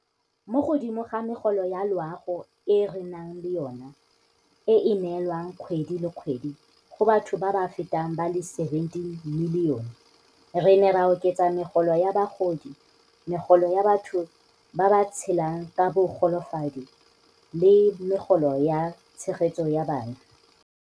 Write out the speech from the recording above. Mo godimo ga megolo ya loago e re nang le yona, e e neelwang kgwedi le kgwedi go batho ba feta ba le 17 milione, re ne ra oketsa Megolo ya Bagodi, Megolo ya batho ba ba Tshelang ka Bogolofadi le Megolo ya Tshegetso ya Bana.